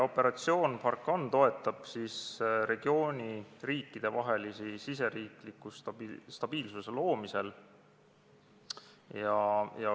Operatsioon Barkhane toetab regiooni riikide valitsusi riikliku stabiilsuse loomisel.